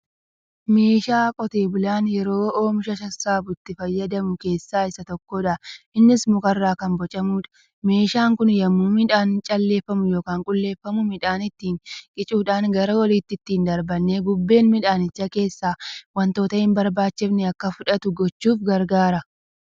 Meeshaa qotee bulaan yeroo omisha saassabu itti fayyadame keessaa Isa tokkoodha. innis mukarraa Kan bocamuudha. meeshaan Kun yemmuu miidhaan calleeffamu yookaan qulqulleeffamu midhaan ittiin qicuudhaan gara oliitti ittiin darbinee bubbeen midhaanichaa keessaa wantoota hin barbaachifne Akka fudhatu gochuuf gargaara.